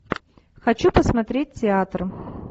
хочу посмотреть театр